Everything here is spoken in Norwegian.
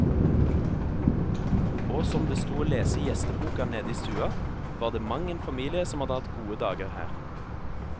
Og som det sto å lese i gjesteboka nede i stua, var det mang en familie som hadde hatt gode dager her.